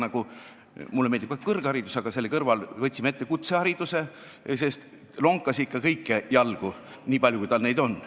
Näiteks, mulle meeldib ka kõrgharidus, aga selle kõrval võtsime ette kutsehariduse, mis lonkas ikka kõiki jalgu, nii palju kui tal neid on.